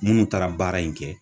Munnu taara baara in kɛ